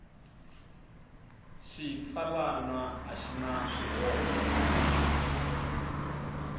xitsalwana a xi na swihoxo